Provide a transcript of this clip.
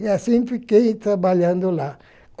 E assim fiquei trabalhando lá.